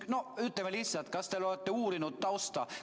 Noh, ütleme lihtsalt: kas te olete tausta uurinud?